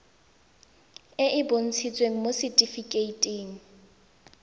e e bontshitsweng mo setifikeiting